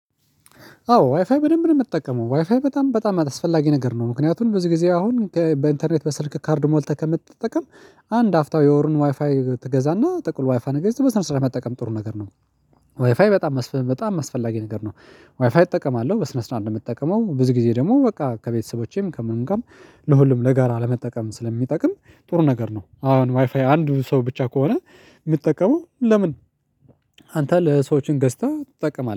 አዎ ዋይፋይ በደንብ ነው የምጠቀመው ዋይፋይ በጣም በጣም አስፈላጊ ነገር ነው ምክንያቱም ብዙ ጊዜ አሁን በኢንተርኔት በስልክ ካርድ ሞልተህ ከምትጠቀም አንድ አፍታው የወርን ዋይፋይ ትገዛና ጥቅል ዋይፋይ ገዝተህ በስነ ስርዓት መጠቀም ጥሩ ነገር ነው። ዋይፋይ በጣም በጣም አስፈላጊ ነገር ነው። ዋይፋይ እጠቀማለሁ በስነ ስርዓት ነው የምጠቀመው ብዙ ጊዜ ደግሞ በቃ ከቤተሰቦቼም ከምንም ጋር ለሁሉም ለጋራ ለመጠቀም ስለሚጠቅም ጥሩ ነገር ነው። አሁን ዋይፋይ አንድ ሰው ብቻ ከሆነ የሚጠቀመው ለምን? አንተ ለሰዎችን ገዝተህ ትጠቀማለህ